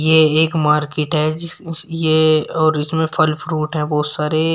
ये एक मार्केट है जिस इस ये और इसमें फल फ्रूट है बहोत सारे।